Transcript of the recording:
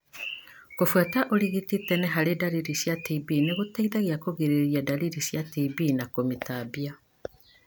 Kũbuata ũrigiti tene harĩ ndariri cia TB nĩgũteithagia kũgirĩrĩria ndariri cia TB na kũmĩtambia.